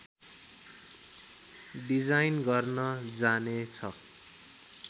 design गर्न जाने छ